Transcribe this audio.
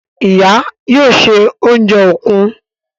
Ìyá yóò ṣe oúnjẹ òkú..